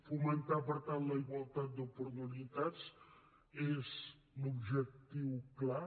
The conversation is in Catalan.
fomentar per tant la igualtat d’oportunitats és l’objectiu clar